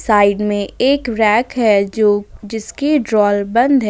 Side में एक rack है जो जिसकी ड्राइवर बंद है।